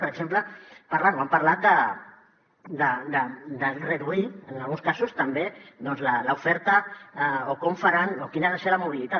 per exemple parlen o han parlat de reduir en alguns casos també l’oferta o com faran o quina ha de ser la mobilitat